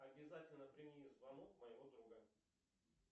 обязательно прими звонок моего друга